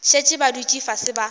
šetše ba dutše fase ba